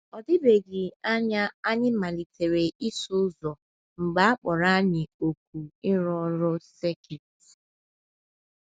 Ọ dịbeghị anya anyị malitere ịsụ ụzọ mgbe a kpọrọ anyị òkù ịrụ ọrụ sekit.